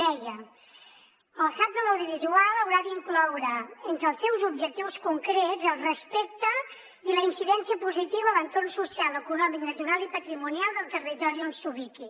deia el hub de l’audiovisual haurà d’incloure entre els seus objectius concrets el respecte i la incidència positiva a l’entorn social econòmic natural i patrimonial del territori on s’ubiqui